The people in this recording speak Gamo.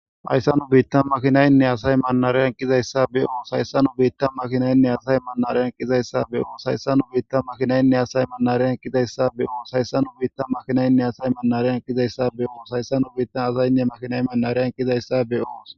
hayssanu biitta makhinaynne asay manariyan kizayssa be oo hayssanu biitta makhinaynne asay manareyan kizayssa beoos hayssanu biitta makhinaynne asay manareyan kizayssa be oos hayssanu biitta makhinaynne asay manareyan kizayssa beoos hayssanu biittan asaynne makhinay manareyan kizayssa be7oos